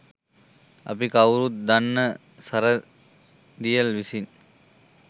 අපි කවුරුත් දන්න සරදියෙල් විසින්